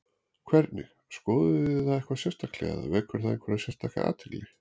Hvernig, skoðuð þið það eitthvað sérstaklega eða vekur það einhverja sérstaka athygli?